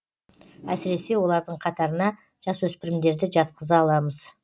әсіресе олардың қатарына жасөспірімдерді жатқыза аламыз